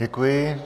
Děkuji.